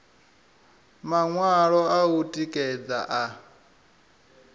maṅwalo a u tikedza a